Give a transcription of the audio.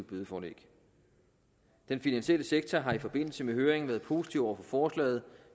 bødeforlæg den finansielle sektor har i forbindelse med høringen været positiv over for forslaget